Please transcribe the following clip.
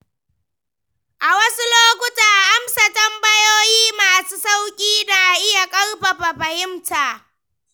A wasu lokuta, amsa tambayoyi masu sauƙi na iya ƙarfafa fahimta.